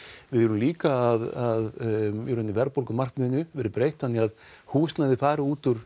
við viljum líka að verðbólgumarkmiðinu verði breytt þannig að húsnæði fari út úr